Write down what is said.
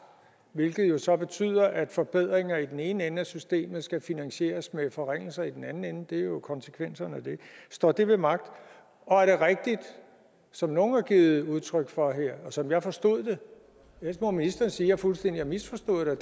hvilket jo så betyder at forbedringer i den ene ende af systemet skal finansieres med forringelser i den anden ende det er jo konsekvensen af det står det ved magt og er det rigtigt som nogle har givet udtryk for her og som jeg forstod det ellers må ministeren sige at jeg fuldstændig har misforstået det